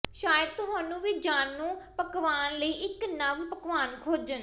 ਸ਼ਾਇਦ ਤੁਹਾਨੂੰ ਵੀ ਜਾਣੂ ਪਕਵਾਨ ਲਈ ਇੱਕ ਨਵ ਪਕਵਾਨ ਖੋਜਣ